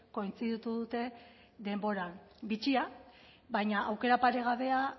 kointziditu dute denboran bitxia baina aukera paregabea